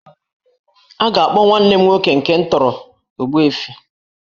A ga-akpọ nwanne m nwoke nke m tọrọ 'Ogbuefi'